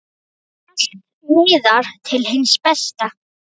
Allt miðar til hins besta.